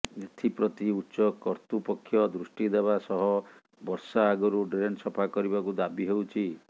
ଏଥିପ୍ରତି ଉଚ୍ଚ କର୍ତ୍ତୃପକ୍ଷ ଦୃଷ୍ଟି ଦେବା ସହ ବର୍ଷା ଆଗରୁ ଡ୍ରେନ୍ ସଫା କରିବାକୁ ଦାବି ହେଉଛି